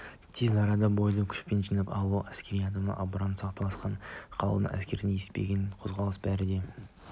тез арада бойды күшпен жинап алушылық әскери адамды абдырап сасқалақтап қалудан әрекетсіздіктен есепсіз қозғалыстан бәрі де